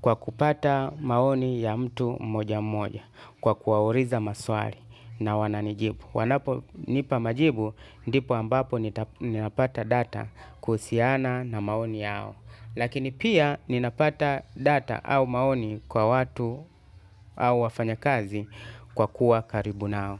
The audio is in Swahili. kwa kupata maoni ya mtu mmoja mmoja kwa kuwauliza maswari na wananijibu. Wanaponipa majibu, ndipo ambapo ninapata data kuhusiana na maoni yao. Lakini pia ninapata data au maoni kwa watu au wafanya kazi kwa kuwa karibu nao.